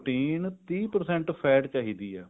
protein ਤੀਹ percent fat ਚਾਹੀਦੀ ਹੈ